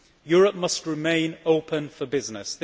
Europe must remain open for business.